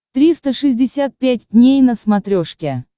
триста шестьдесят пять дней на смотрешке